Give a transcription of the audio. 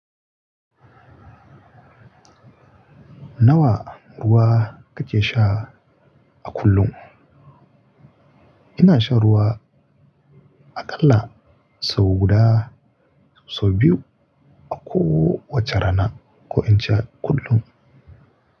Nawa ruwa kake sha a kullum? Ina shan ruwa aƙalla sau guda sau biyu a kowace rana ko in sha kullum.